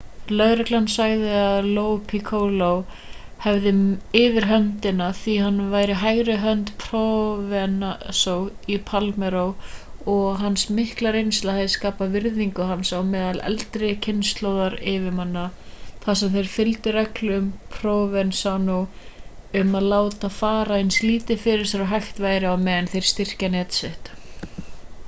lögreglan sagði að lo piccolo hefði yfirhöndina því hann var hægri hönd provenzano í palermo og að hans mikla reynsla hefði skapað virðingu hans á meðal eldri kynslóðar yfirmanna þar sem þeir fylgdu reglu provenzano um að láta fara eins lítið fyrir sér og hægt væri á meðan þeir styrkja net sitt